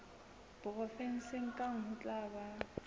provenseng kang ho tla ba